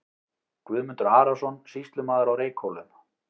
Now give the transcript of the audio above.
Guðmundur Arason, sýslumaður á Reykhólum.